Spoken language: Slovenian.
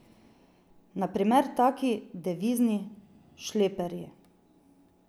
Na primer taki devizni šleperji.